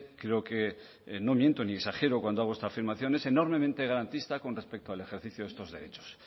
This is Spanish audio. creo que no miento ni exagero cuando hago esta afirmación es enormemente garantista con respecto al ejercicio de estos derechos